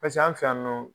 Paseke an fɛ yan nɔ